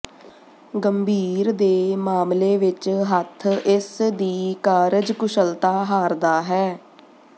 ਗੰਭੀਰ ਦੇ ਮਾਮਲੇ ਵਿਚ ਹੱਥ ਇਸ ਦੀ ਕਾਰਜਕੁਸ਼ਲਤਾ ਹਾਰਦਾ ਹੈ